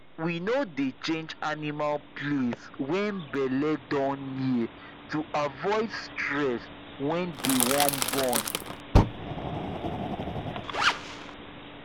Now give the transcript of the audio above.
we no dey change animal place when belle don near to avoid stress when they wan born